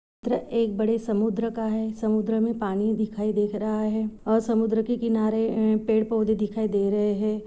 चित्र एक बड़े समुद्र का है समुद्र मे पानी दिखाई देख रहा है और समुद्र के ए किनारे पेड पौधे दिखाई दे रहे है।